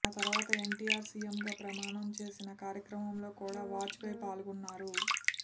ఆ తర్వాత ఎన్టీఆర్ సీఎంగా ప్రమాణం చేసిన కార్యక్రమంలో కూడ వాజ్పేయ్ పాల్గొన్నారు